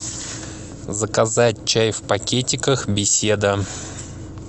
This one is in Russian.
заказать чай в пакетиках беседа